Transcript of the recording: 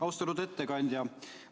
Austatud ettekandja!